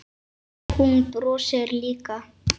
Hún brosir líka.